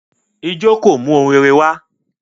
Ijọ́ kò mú ohun rere wá